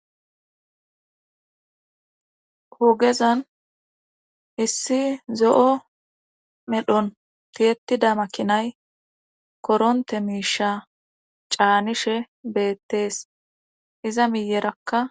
hugezan issi zo7o medhon tiyettida makinay koronte miisha caanishe beettees iza miyerakka